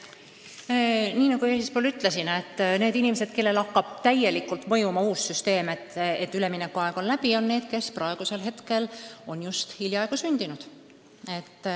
Nagu ma ütlesin, need inimesed, kellele hakkab täielikult mõjuma uus süsteem, kelle puhul üleminekuaeg on läbi, on hiljaaegu sündinud.